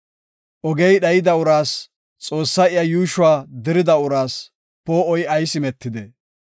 Ogey dhayida uraas, Xoossay iya yuushuwa dirida uraas, poo7oy ayis imetidee?